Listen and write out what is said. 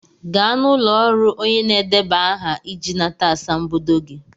Gaa n'ụlọ ọrụ onye na-edeba aha iji nata asambodo gị!